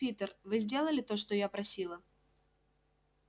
питер вы сделали то что я просила